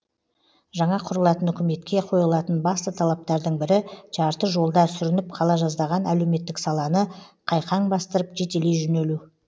жаңа құрылатын үкіметке қойылатын басты талаптардың бірі жарты жолда сүрініп қала жаздаған әлеуметтік саланы қайқаң бастырып жетелей жөнелу